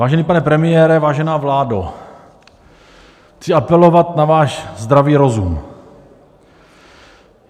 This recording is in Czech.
Vážený pane premiére, vážená vládo, chci apelovat na váš zdravý rozum.